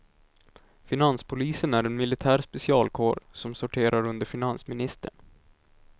Finanspolisen är en militär specialkår som sorterar under finansministern.